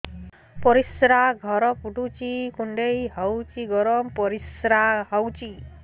ପରିସ୍ରା ଘର ପୁଡୁଚି କୁଣ୍ଡେଇ ହଉଚି ଗରମ ପରିସ୍ରା ହଉଚି